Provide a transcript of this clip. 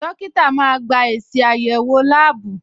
Dókítà máa gba èsì àyẹ̀wò láàbù.